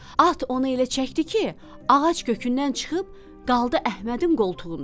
At onu elə çəkdi ki, ağac kökündən çıxıb qaldı Əhmədin qoltuğunda.